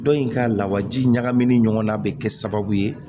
Dɔ in ka lawaji ɲagamin ɲɔgɔn na bɛ kɛ sababu ye